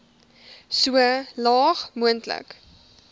so laag moontlik